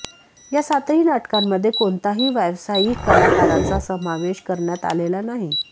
या सातही नाटकांमध्ये कोणताही व्यावसायिक कलाकाराचा समावेश करण्यात आलेला नाही